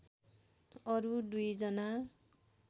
अरू दुई जना